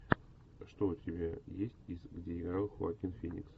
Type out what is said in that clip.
что у тебя есть из где играл хоакин феникс